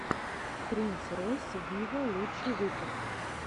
принс ройс виво лучший выпуск